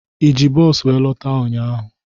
Eji bos wéré lọta ụnyaahụ?